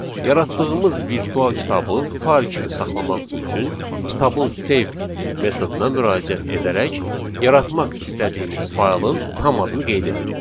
Yaratdığımız virtual kitabı fayl kimi saxlamaq üçün kitabın save metoduna müraciət edərək yaratmaq istədiyimiz faylın tam adını qeyd edirik.